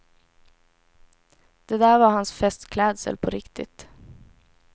Det där var hans festklädsel på riktigt.